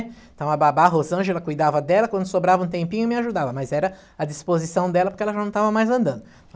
Então a babá, a Rosângela, cuidava dela, quando sobrava um tempinho, me ajudava, mas era a disposição dela, porque ela já não estava mais andando.